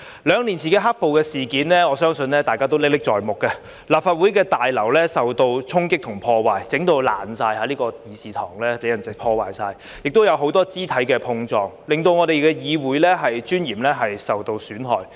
兩年前的"黑暴"事件，我相信大家都歷歷在目，立法會大樓受到衝擊和破壞，弄致完全破爛，這個議事堂被人完全破壞，亦有很多肢體碰撞，令我們議會尊嚴受到損害。